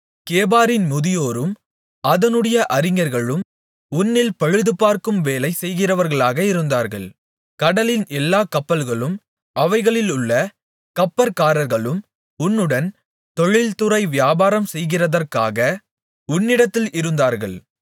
கேபாரின் முதியோரும் அதனுடைய அறிஞர்களும் உன்னில் பழுதுபார்க்கும் வேலை செய்கிறவர்களாக இருந்தார்கள் கடலின் எல்லா கப்பல்களும் அவைகளிலுள்ள கப்பற்காரர்களும் உன்னுடன் தொழில்துறை வியாபாரம் செய்கிறதற்காக உன்னிடத்தில் இருந்தார்கள்